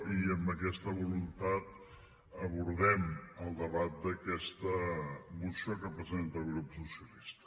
i amb aquesta voluntat abordem el debat d’aquesta moció que presenta el grup socialista